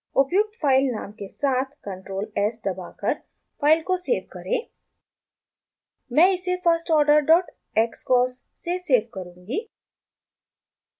उपयुक्त फाइल नाम के साथ control s दबाकर फाइल को सेव करें मैं इसे firstorderxcos से सेव करुँगी